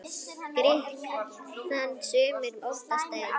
Gikk þann sumir óttast æ.